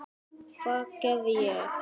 Hvað gerði ég?